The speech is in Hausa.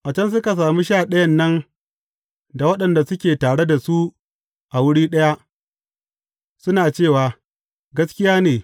A can suka sami Sha Ɗayan nan da waɗanda suke tare da su a wuri ɗaya, suna cewa, Gaskiya ne!